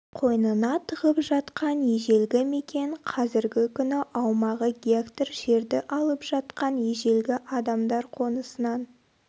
қойнына тығып жатқан ежелгі мекен қазіргі күні аумағы гектар жерді алып жатқан ежелгі адамдар қонысынан